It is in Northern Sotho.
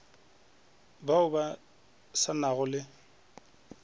bao ba sa nago le